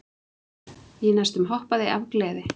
Ég næstum hoppaði af gleði.